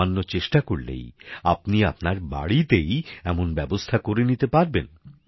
সামান্য চেষ্টা করলেই আপনি আপনার বাড়িতেই এমন ব্যবস্থা করে নিতে পারবেন